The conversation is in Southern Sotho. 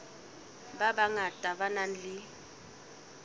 ba bangata ba nang le